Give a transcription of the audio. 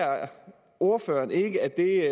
ordføreren ikke at det